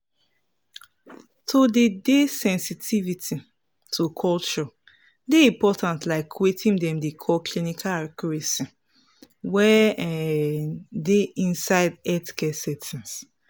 to dey dey sensitivity to culture dey important like weting dem dey call clinical accuracy wey um dey inside healthcare settings.